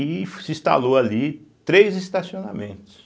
E se instalou ali três estacionamentos.